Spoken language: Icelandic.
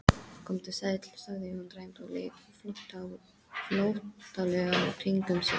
Komdu sæll, sagði hún dræmt og leit flóttalega kringum sig.